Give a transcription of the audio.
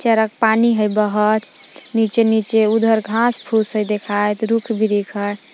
चरक पानी हइ बहत नीचे नीचे उधर घास फूस देखाइत रुख बीरिख हइ।